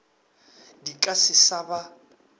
di ka se sa ba